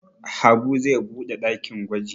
Habu zai buɗe ɗakin gwaji.